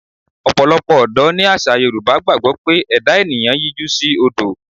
Ọ̀pọ̀lọpọ̀ Odò ní àṣà Yorùbá gbàgbọ́ pé ẹ̀dá ènìyàn yíjú sí odò.